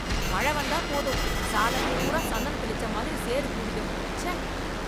மழ வந்தா போதும் சாலப் பூரா சந்தனம் தெளிச்சா மாதிரி சேறு கூடிடும், ச்சே.